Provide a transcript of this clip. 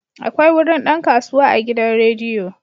Akwai wurin dan kasuwa a gidan rediyo.